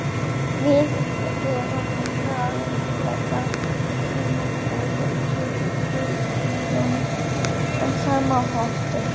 Við erum farþegar í sömu ferð, tilheyrum sama hópi.